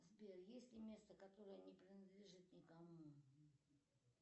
сбер есть ли место которое не принадлежит никому